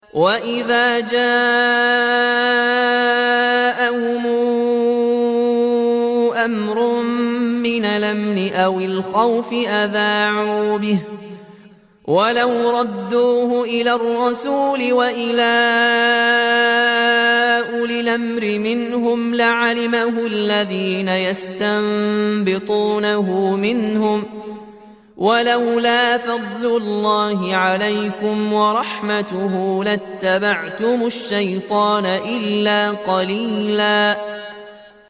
وَإِذَا جَاءَهُمْ أَمْرٌ مِّنَ الْأَمْنِ أَوِ الْخَوْفِ أَذَاعُوا بِهِ ۖ وَلَوْ رَدُّوهُ إِلَى الرَّسُولِ وَإِلَىٰ أُولِي الْأَمْرِ مِنْهُمْ لَعَلِمَهُ الَّذِينَ يَسْتَنبِطُونَهُ مِنْهُمْ ۗ وَلَوْلَا فَضْلُ اللَّهِ عَلَيْكُمْ وَرَحْمَتُهُ لَاتَّبَعْتُمُ الشَّيْطَانَ إِلَّا قَلِيلًا